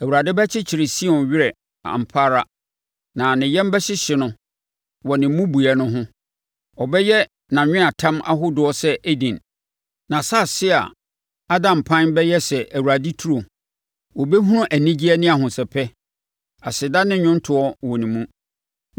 Awurade bɛkyekye Sion werɛ ampa ara na ne yam bɛhyehye no wɔ ne mmubuiɛ no ho; ɔbɛyɛ nʼanweatam ahodoɔ sɛ Eden, nʼasase a ada mpan bɛyɛ sɛ Awurade turo. Wɔbɛhunu anigyeɛ ne ahosɛpɛ, aseda ne nnwontoɔ wɔ ne mu.